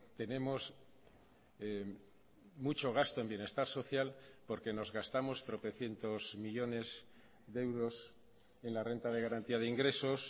tenemos mucho gasto en bienestar social porque nos gastamos tropecientos millónes de euros en la renta de garantía de ingresos